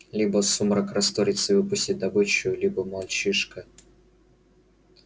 либо сумрак растворится и выпустит добычу либо мальчишка